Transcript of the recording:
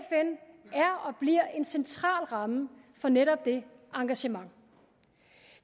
og bliver en central ramme for netop det engagement